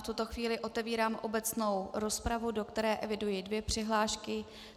V tuto chvíli otevírám obecnou rozpravu, do které eviduji dvě přihlášky.